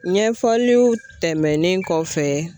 Ɲɛfɔliw tɛmɛnen kɔfɛ